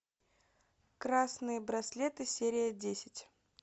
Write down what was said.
красные браслеты серия десять